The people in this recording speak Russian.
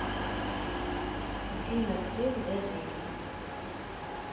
афина где взять деньги